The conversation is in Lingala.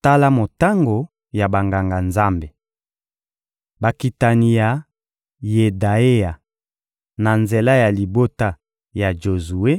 Tala motango ya Banganga-Nzambe: Bakitani ya Yedaeya, na nzela ya libota ya Jozue: